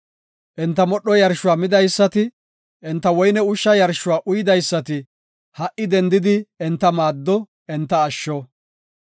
Enta modho yarshuwa midaysati, enta woyne ushsha yarshuwa uydaysati, ha77i dendidi enta maaddo; enta asho.